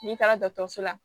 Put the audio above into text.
N'i taara dɔkɔtɔrɔso la